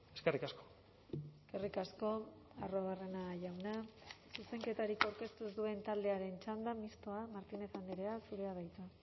eskerrik asko eskerrik asko arruabarrena jauna zuzenketarik aurkeztu ez duen taldearen txanda mistoa martínez andrea zurea da hitza